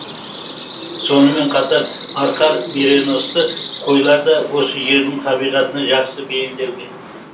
сонымен қатар арқар миреносты қойлар да осы жердің табиғатына жақсы бейімделген